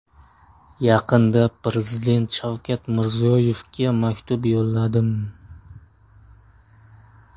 Yaqinda Prezident Shavkat Mirziyoyevga maktub yo‘lladim.